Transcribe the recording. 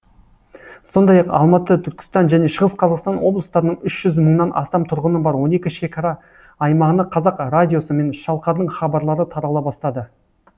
сондай ақ алматы түркістан және шығыс қазақстан облыстарының үш жүз мыңнан астам тұрғыны бар он екі шекара аймағына қазақ радиосы мен шалқардың хабарлары тарала бастады